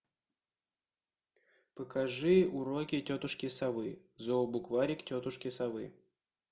покажи уроки тетушки совы зообукварик тетушки совы